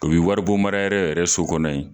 O be wari bon mara yɔrɔ yɛrɛ so kɔnɔ yen.